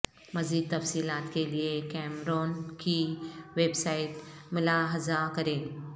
مزید تفصیلات کے لئے کیمرون کی ویب سائٹ ملاحظہ کریں